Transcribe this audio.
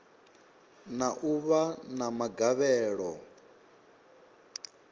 na u vha na magavhelo